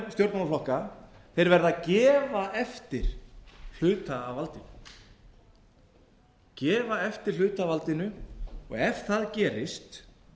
stjórnmálaflokka verða að gefa eftir hluta af valdinu og ef það gerist